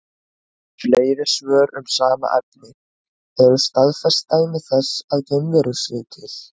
Fleiri svör um sama efni: Eru til staðfest dæmi þess að geimverur séu til?